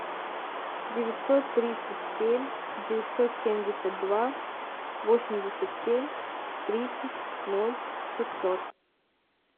девятьсот тридцать семь девятьсот семьдесят два восемьдесят семь тридцать ноль шестьсот